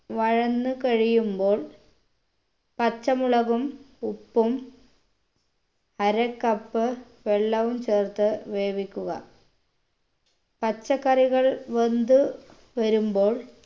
വഴന്ന് കഴിയുമ്പോൾ പച്ചമുളകും ഉപ്പും അര cup വെള്ളവും ചേർത്ത് വേവിക്കുക പച്ചക്കറികൾ വെന്ത് വരുമ്പോൾ